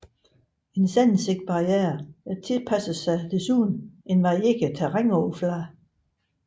En sandsækkebarriere tilpasser sig desuden en varierende terrænoverflade